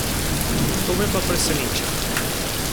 To me pa preseneča.